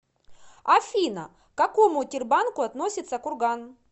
афина к какому тербанку относится курган